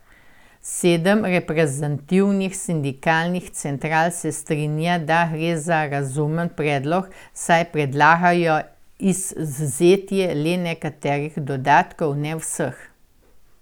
Sedem reprezentativnih sindikalnih central se strinja, da gre za razumen predlog, saj predlagajo izvzetje le nekaterih dodatkov, ne vseh.